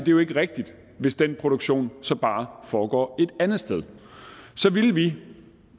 jo ikke er rigtigt hvis den produktion så bare foregår et andet sted så ville det